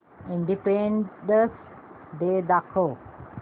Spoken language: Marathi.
इंडिपेंडन्स डे दाखव